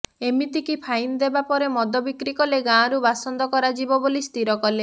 ଏମିତିକି ଫାଇନ୍ ଦେବା ପରେ ମଦ ବିକ୍ରି କଲେ ଗାଁରୁ ବାସନ୍ଦ କରାଯିବ ବୋଲି ସ୍ଥିର କଲେ